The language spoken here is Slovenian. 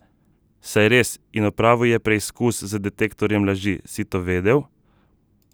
Saj res, in opravil je preizkus z detektorjem laži, si to vedel?